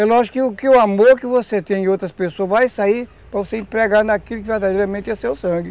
Eu acho que que o amor que você tem em outras pessoas vai sair para você empregar naquilo que verdadeiramente é seu sangue.